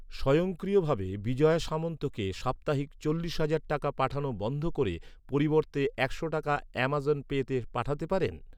স্বয়ংক্রিয়ভাবে বিজয়া সামন্তকে সাপ্তাহিক চল্লিশ হাজার টাকা পাঠানো বন্ধ করে পরিবর্তে একশো টাকা অ্যামাজন পেতে পাঠাতে পারেন?